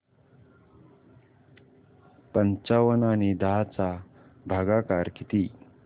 पंचावन्न आणि दहा चा भागाकार किती